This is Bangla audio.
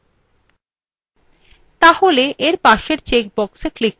এই বিকল্পটি বড় outputs সংগ্রহ সহজ করে তোলে